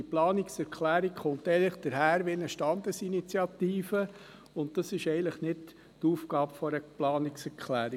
Die Planungserklärung kommt wie eine Standesinitiative daher, und das ist nicht die Aufgabe einer Planungserklärung.